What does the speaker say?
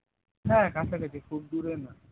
হ্যাঁ কাছা কাছি খুব দূরে নয়